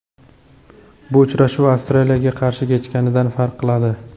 Bu uchrashuv Avstraliyaga qarshi kechganidan farq qiladi.